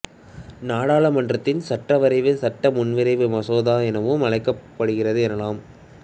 நாடாளுமன்றத்தின் சட்ட வரைவு சட்ட முன்வரைவு மசோதா எனவும் அழைக்கப்படுகிறது எனலாம்